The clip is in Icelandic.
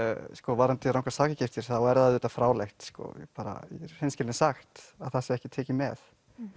varðandi rangar sakagiftir þá er það auðvitað fráleitt í hreinskilni sagt að það sé ekki tekið með